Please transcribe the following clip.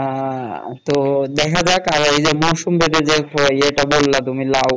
আহ তো দেখা যাক আর যে মৌসুম ভেদে যে এটা বললা তুমি লাউ